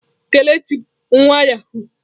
Kelechi bu nwa yahụụ.